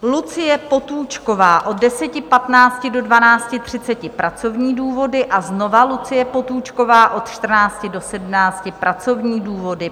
Lucie Potůčková od 10.15 do 12.30 - pracovní důvody a znovu Lucie Potůčková od 14.00 do 17.00 - pracovní důvody.